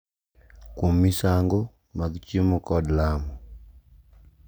Kuom misango mag chiemo kod lamo .